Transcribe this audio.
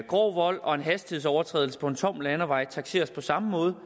grov vold og en hastighedsovertrædelse på en tom landevej takseres på samme måde